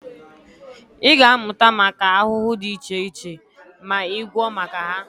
Ị ga-amụta maka ahụhụ dị iche iche ma ị gụọ maka ha